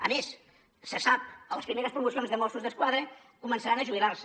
a més se sap les primeres promocions de mossos d’esquadra començaran a jubilar se